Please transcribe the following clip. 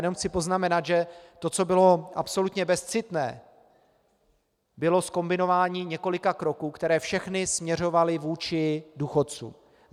Jenom chci poznamenat, že to, co bylo absolutně bezcitné, bylo zkombinování několika kroků, které všechny směřovaly vůči důchodcům.